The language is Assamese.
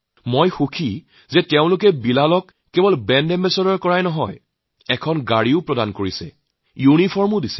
মই আনন্দিত যে পৌৰনিগমে বিলালক কেবল মাত্ৰ ব্ৰেণ্ড এম্বেছাডৰেই নিয়োগ কৰা নাই তেওঁলোকে বিলালক গাড়ী দিছে ইউনিফৰ্ম দিছে